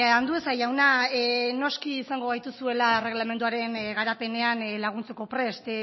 andueza jauna noski izango gaituzuela erregelamenduaren garapenean laguntzeko prest